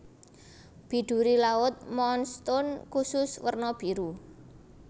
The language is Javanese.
Biduri laut moonstone kusus werna biru